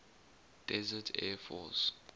desert air force